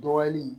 Dɔgɔyali